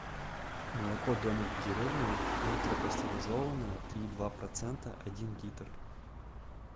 молоко домик в деревне ультрапастеризованное три и два процента один литр